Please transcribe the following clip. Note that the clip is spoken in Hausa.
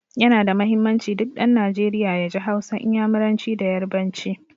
Ya na da muhimmanci, duk ɗan Najeriya ya ji Hausa, Inyamuranci da Yarbanci.